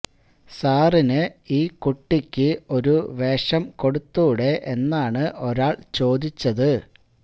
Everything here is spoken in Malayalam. സാറിന് ഈ കുട്ടിക്ക് ഒരു വേഷം കൊടുത്തൂടെ എന്നാണ് ഒരാൾ ചോദിച്ചത്